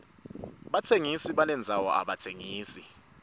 batsengisi balendzano abatsengisi